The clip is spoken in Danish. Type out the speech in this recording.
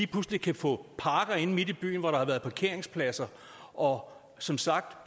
pludselig kan få parker inde i byen hvor der har været parkeringspladser og som sagt